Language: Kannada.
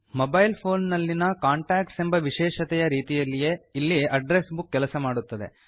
ಮೊಬೈಲ್ ಫೋನ್ ನಲ್ಲಿನ ಕಾಂಟಾಕ್ಟ್ಸ್ ಎಂಬ ವಿಶೇಷತೆಯ ರೀತಿಯಲ್ಲೇ ಇಲ್ಲಿ ಅಡ್ಡ್ರೆಸ್ ಬುಕ್ ಕೆಲಸ ಮಾಡುತ್ತದೆ